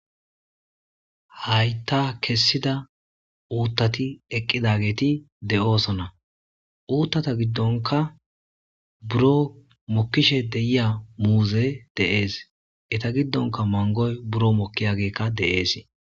hayta kessida uuttati eqqidageeti de7oosona uuttata giddonka buro mokkishe deyiya muuze deees eta giddonka mangoy buro mokkiyagekka de7ees